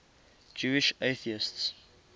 jewish atheists